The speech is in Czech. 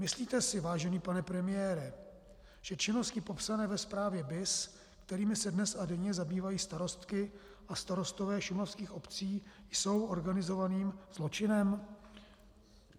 Myslíte si, vážený pane premiére, že činnosti popsané ve zprávě BIS, kterými se dnes a denně zabývají starostky a starostové šumavských obcí, jsou organizovaným zločinem?